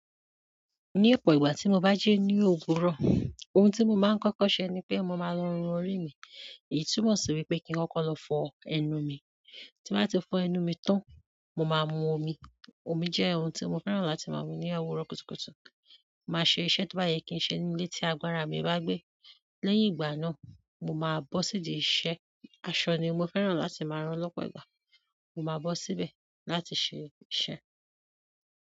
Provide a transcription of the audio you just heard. Ní ọ̀pọ̀ ìgbà tí mo bá jí ní òwùrò, ohun tí mo máa ń kọ́kọ́ ṣe ni pé mo máa lọ rún orí mi. Èyí túmọ̀ si wípé ki n koko lo fo ẹnu mi. Ti n ba ti fo ẹnu mi tan, mo maa mu omi. Omi jẹ́ ohun tí mo fẹ́ràn láti máa mu ní owurọ́ kùtùkùtù. Màá ṣe iṣẹ́ to bá yẹ kí ń ṣe nínú lé tí agbára mi bá gbé. Lẹ́yìn ìgbà náà, mo máa bọ́ sídi iṣẹ́. Aṣọ ni mo fẹ́ràn láti máa rán lọ́pọ̀ ìgbà. Mo máa bọ́ síbẹ̀ láti ṣe iṣẹ́.